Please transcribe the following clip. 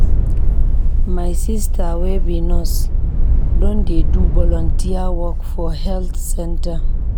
My sista wey be nurse don dey do volunteer work for health center.